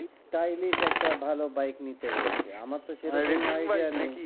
stylish একটা ভালো bike নিতে বলছে